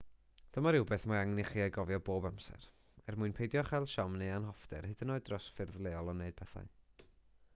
dyma rywbeth mae angen i chi ei gofio bob amser er mwyn peidio â chael siom neu anhoffter hyd yn oed dros ffyrdd lleol o wneud pethau